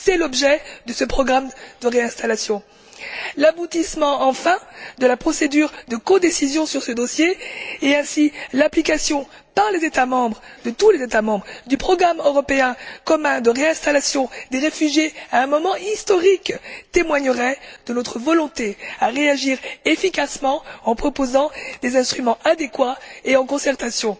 C'est l'objet de ce programme de réinstallation. L'aboutissement enfin de la procédure de codécision sur ce dossier et, partant, l'application par tous les États membres du programme européen commun de réinstallation des réfugiés à un moment historique témoigneraient de notre volonté à réagir efficacement en proposant des instruments adéquats et en concertation.